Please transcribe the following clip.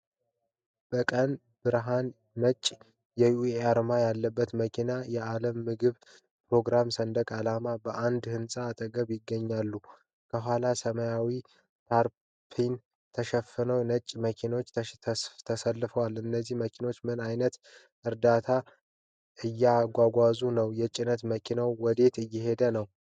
በቀን ብርሃን፣ ነጭ የዩኤን አርማ ያለበት መኪናና የዓለም ምግብ ፕሮግራም ሰንደቅ ዓላማ በአንድ ሕንፃ አጠገብ ይገኛሉ። ከኋላው ሰማያዊ ታርፓሊን የተሸፈኑ የጭነት መኪኖች ተሰልፈዋል። እነዚህ መኪኖች ምን ዓይነት ዕርዳታ እያጓጓዙ ነው? የጭነት መኪኖቹ ወዴት እየሄዱ ነው?